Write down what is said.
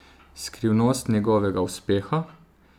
Skrivnost njegovega uspeha?